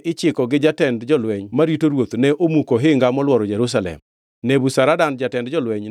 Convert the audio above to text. Nebuzaradan jatend jolweny notero e twech joma nodongʼ e dala maduongʼno, kaachiel gi oganda mamoko kod joma noringo modhi ir ruodh Babulon mondo otony.